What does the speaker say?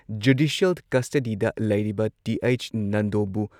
judicial ꯀꯁꯇꯗꯤꯗ ꯂꯩꯔꯤꯕ TH ꯅꯟꯗꯣꯕꯨ